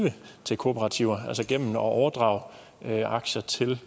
til kooperativer gennem at overdrage aktier til